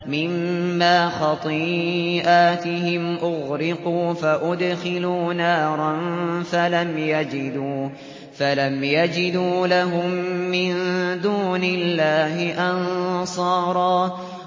مِّمَّا خَطِيئَاتِهِمْ أُغْرِقُوا فَأُدْخِلُوا نَارًا فَلَمْ يَجِدُوا لَهُم مِّن دُونِ اللَّهِ أَنصَارًا